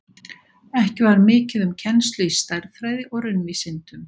Ekki var mikið um kennslu í stærðfræði og raunvísindum.